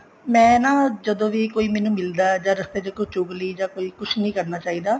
ਮੈਂ ਨਾ ਜਦੋਂ ਵੀ ਕੋਈ ਮੈਨੂੰ ਮਿਲਦਾ ਜਾਂ ਰਸਤੇ ਚ ਕੋਈ ਚੁਗਲੀ ਜਾਂ ਕੋਈ ਕੁੱਝ ਨੀ ਕਰਨਾ ਚਾਹੀਦਾ